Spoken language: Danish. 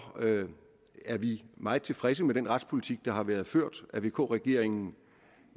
er vi meget tilfredse med den retspolitik der har været ført af vk regeringen